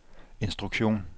instruktion